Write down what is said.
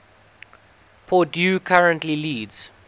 purdue currently leads